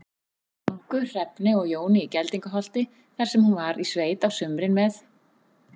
Ingu, Hrefnu og Jóni í Geldingaholti, þar sem hún var í sveit á sumrin með